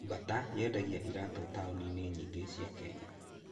Bata yendagia iraatũ taũni-inĩ nyingĩ cia Kenya.